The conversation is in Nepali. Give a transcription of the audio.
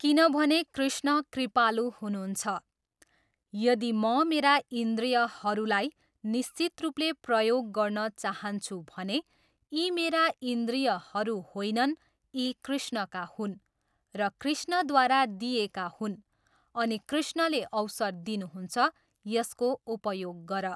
किनभने कृष्ण कृपालु हुनुहुन्छ, यदि म मेरा इन्द्रियहरूलाई निश्चित रूपले प्रयोग गर्न चाहन्छु भने यी मेरा इन्द्रियहरू होइनन् यी कृष्णका हुन् र कृष्णद्वारा दिइएका हुन् अनि कृष्णले अवसर दिनुहुन्छ, यसको उपयोग गर।